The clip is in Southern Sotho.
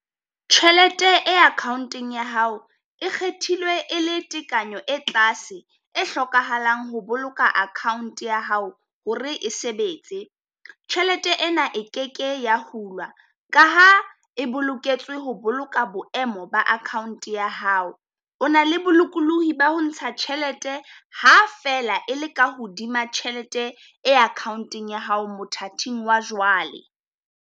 Tjhelete e akhaonteng ya hao e kgethilwe e le tekanyo e tlase e hlokahalang ho boloka akhaont ya hao hore e sebetse. Tjhelete ena e keke ya hulwa ka ha e boloketswe ho boloka boemo ba akhaont ya hao. O na le bolokolohi ba ho ntsha tjhelete ha feela e le ka hodima tjhelete e akhaonteng ya hao mothating wa jwale.